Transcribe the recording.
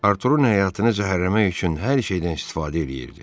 Arturun həyatını zəhərləmək üçün hər şeydən istifadə eləyirdi.